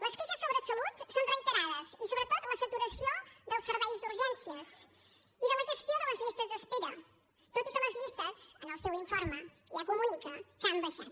les queixes sobre salut són reiterades i sobretot la saturació dels serveis d’urgències i de la gestió de les llistes d’espera tot i que les llistes en el seu informe ja comunica que han baixat